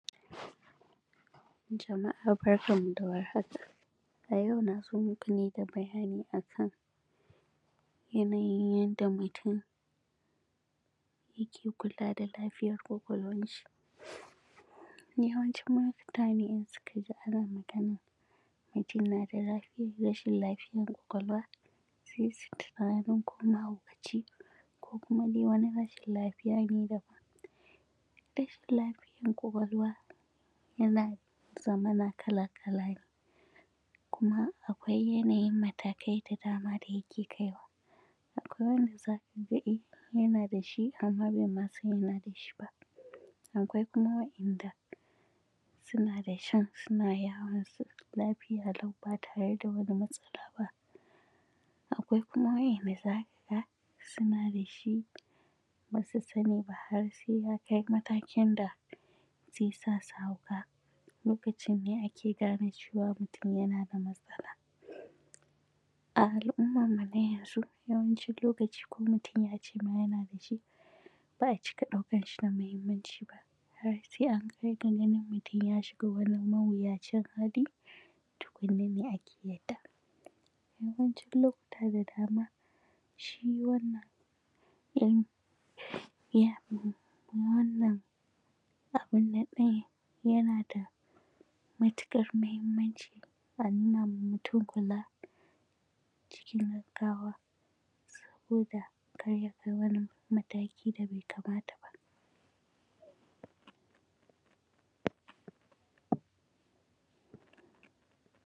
Jama’a barkan mu da warhaka, a yau na zo muku ne da bayani a kan yanayin yanda mutum yake kula da lafiyan ƙwaƙwalwanshi Yawancin mutane in suka ji ana maganan mutum na da lafiyan; rashin lafiyan ƙwaƙwalwa sai su yi tunanin ko mahaukaci ne ko kuma dai wani rashin lafiya ne da; rashin lafiyan ƙwaƙwalwa yana zamana kala-kala ne kuma akwai yanayin matakai da dama da yake kai wa. Akwai wanda za ka ga ɗin yana da shi, amma be ma san yana da shi ba Akwai kuma wa’yanda suna da shin suna yawon su lafiya lau ba tare da wani matsala ba. Akwai kuma wa’yanda za ka ga suna da shi, ba su sani ba har sai ya kai matakin da ze sa su hauka, lokacin ne ake gane cewa mutum yana da matsala. A al’ummanmu na yanzu, yawancin lokaci ko mutum ya ce ma yana da shi, ba a cika ɗaukan shi da mahimmanci ba har sai an kai ga ganin mutum ya shiga wani mawuyacin hali, tukunna ne ake yarda. Yawancin lokuta da dama, shi wannan in ya; wannan abin nan ɗin yana da matiƙar mahimmanci a nuna ma mutum kula cikin gaggawa saboda kar ya kai wani mataki da bai kamata ba.